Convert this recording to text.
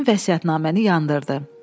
həmin vəsiyyətnaməni yandırdı.